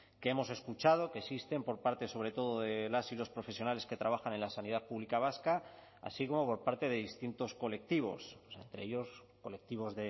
que hemos escuchado que existen por parte sobre todo de las y los profesionales que trabajan en la sanidad pública vasca así como por parte de distintos colectivos entre ellos colectivos